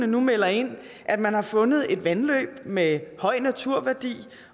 nu melder ind at man har fundet et vandløb med høj naturværdi